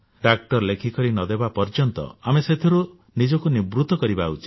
ଡାକ୍ତର ଲେଖି କିଛି ନ ଦେବା ପର୍ଯ୍ୟନ୍ତ ଆମେ ସେଥିରୁ ନିବୃତ ରହିବା ଉଚିତ